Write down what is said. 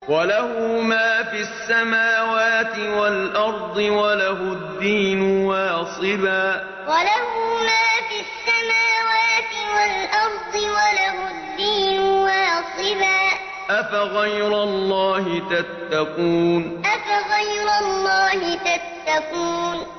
وَلَهُ مَا فِي السَّمَاوَاتِ وَالْأَرْضِ وَلَهُ الدِّينُ وَاصِبًا ۚ أَفَغَيْرَ اللَّهِ تَتَّقُونَ وَلَهُ مَا فِي السَّمَاوَاتِ وَالْأَرْضِ وَلَهُ الدِّينُ وَاصِبًا ۚ أَفَغَيْرَ اللَّهِ تَتَّقُونَ